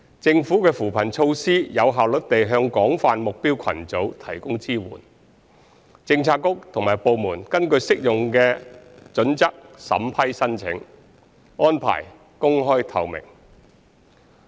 政府的扶貧措施可有效率地向廣泛目標群組提供支援，政策局及部門根據適用的準則審批申請，安排公開透明。